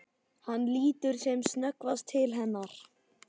Hann lítur sem snöggvast til hennar.